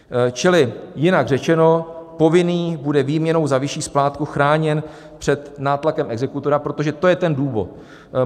Čili jinak řečeno, povinný bude výměnou za vyšší splátku chráněn před nátlakem exekutora, protože to je ten důvod.